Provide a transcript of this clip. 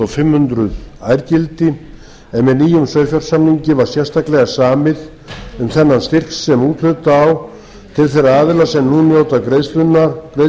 fimm hundruð ærgildi en með nýjum sauðfjársamningi var sérstaklega samið um þennan styrk sem úthluta á til þeirra aðila sem nú nota greiðsluna á